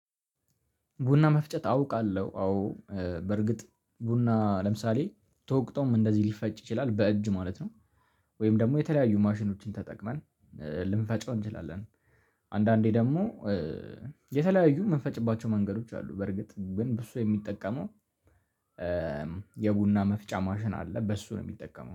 ቡና መፍጨት አውቃለሁ አዎ በርግጥ ቡና ለምሳሌ ተወቅጦም እንደዚህ ሊፈጭ ይችላል በእጅ ማለት ነው። ወይም ደግሞ የተለያዩ ማሽኖችን ተጠቅመን ልንፈጨው እንችላለን። አንዳንዴ ደግሞ የተለያዩ የምንፈጭባቸው መንገዶች አሉ። በርግጥ ግን ብዙ ሰው የሚጠቀመው የቡና መፍጫ ማሽን አለ በሱ ነው የሚጠቀመው